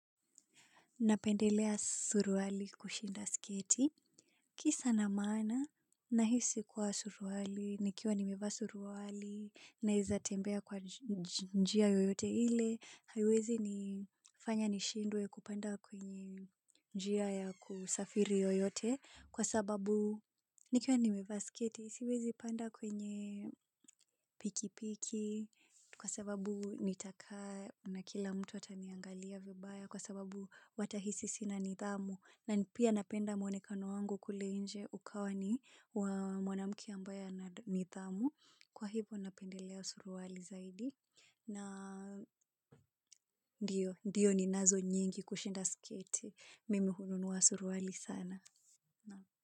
Napendelea suruali kushinda sketi. Kisa na maana, nahisi kuwa suruali, nikiwa nimevaa suruali, naeza tembea kwa njia yoyote ile, haiwezi nifanya nishindwe kupanda kwenye njia ya kusafiri yoyote, kwa sababu nikiwa nimevaa sketi, siwezi panda kwenye pikipiki, kwa sababu nitakaa na kila mtu ataniangalia vibaya kwa sababu watahisi sina nidhamu na ni pia napenda mwonekano wangu kule nje ukawa ni wa mwanamke ambaye ana nidhamu kwa hivyo napendelea suruali zaidi na ndiyo, ndiyo ninazo nyingi kushinda sketi mimi hununua suruali sana.